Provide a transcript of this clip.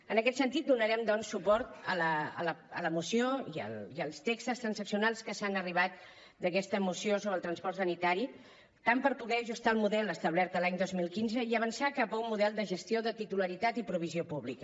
en aquest sentit donarem doncs suport a la moció i als textos transaccionals a què s’ha arribat d’aquesta moció sobre el transport sanitari per poder ajustar el model establert l’any dos mil quinze i avançar cap a un model de gestió de titularitat i provisió pública